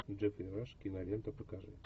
джеффри раш киноленту покажи